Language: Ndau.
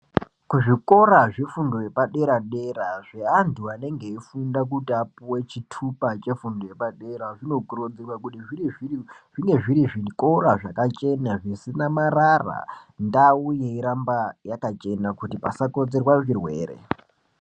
Kuzvikora zvefundo yepadera-dera zveantu anenge eifunda kuti apuwe chitupa chefundo yepadera zvinokurudzirwa kuti zvinge zviri zvikora zvakachena, zvisina marara, ndau yeiramba yakachena kuti pasakonzerwa zvirwere.